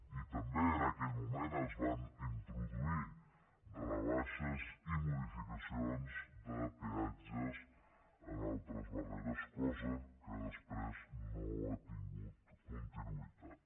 i també en aquell moment es van introduir rebaixes i modificacions de peatges en altres barreres cosa que després no ha tingut continuïtat